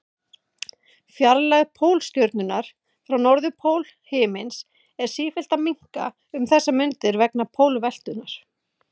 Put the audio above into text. Fjarlægð Pólstjörnunnar frá norðurpól himins er sífellt að minnka um þessar mundir vegna pólveltunnar.